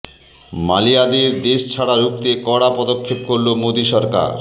মালিয়াদের দেশ ছাড়া রুখতে কড়া পদক্ষেপ করল মোদী সরকার